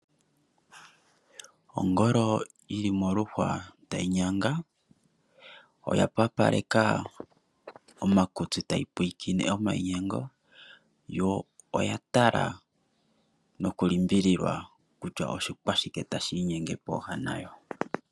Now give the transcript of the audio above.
Ongolo yili moluhwa tayi nyanga. Oya pakaleka omakutsi tayi pwiikine omainyengo yo oya tala nokulimbililwa kutya oshikwashike tashi inyenge popepi nayo.